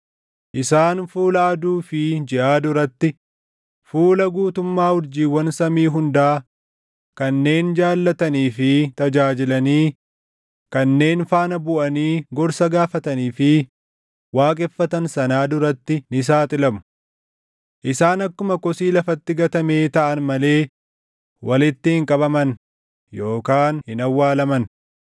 ‘Isaan fuula aduu fi jiʼaa duratti, fuula guutummaa urjiiwwan samii hundaa, kanneen jaallatanii fi tajaajilanii, kanneen faana buʼanii gorsa gaafatanii fi waaqeffatan sanaa duratti ni saaxilamu. Isaan akkuma kosii lafatti gatamee taʼan malee walitti hin qabaman yookaan hin awwaalaman.